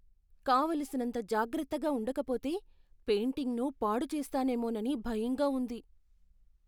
కావలసినంత జాగ్రత్తగా ఉండకపోతే పెయింటింగ్ను పాడు చేస్తానేమోనని భయంగా ఉంది.